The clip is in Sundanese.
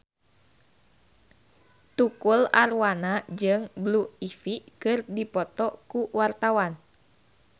Tukul Arwana jeung Blue Ivy keur dipoto ku wartawan